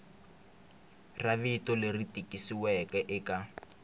ra rito leri tikisiweke eka